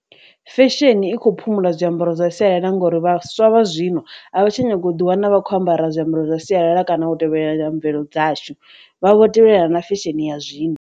Fesheni i khou phumula zwiambaro zwa sialala ngori vhaswa vha zwino a vha tsha nyanga u ḓi wana vha khou ambara zwiambaro zwa sialala kana u tevhelela mvelelo dzashu, vha vho tevhelelana na fesheni ya zwino.